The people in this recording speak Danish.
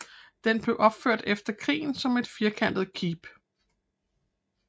Den blev genopført efter krigen som et firkantet keep